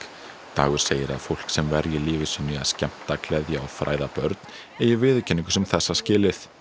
dagur segir að fólk sem verji lífi sínu í að skemmta gleðja og fræða börn eigi viðurkenningu sem þessa skilið